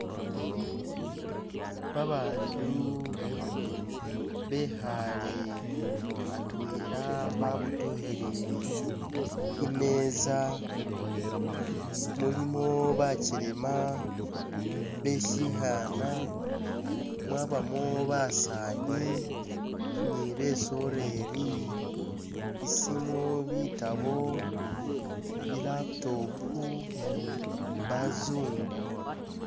Babandu bekhaale atwela babotokhelele imeza mulimo bakyelema beshikhana mwabamo basani ni basoleli isimu bitabo i'laptop bazungu